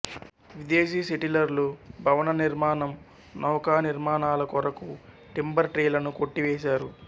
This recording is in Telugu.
విదేశీ సెటిలర్లు భవన నిర్మాణం నౌకానిర్మాణాల కొరకు టింబర్ ట్రీలను కొట్టివేసారు